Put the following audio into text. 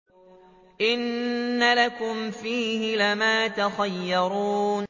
إِنَّ لَكُمْ فِيهِ لَمَا تَخَيَّرُونَ